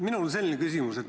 Minul on selline küsimus.